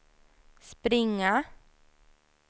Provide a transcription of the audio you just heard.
springa